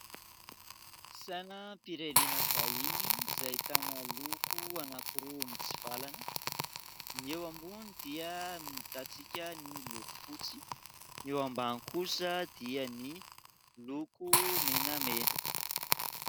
Sainam-pirenena vahiny izay ahitana loko anankiroa mitsivalana ; ny eo ambony dia ahitantsika ny loko fotsy ny eo ambany kosa dia ny loko menamena.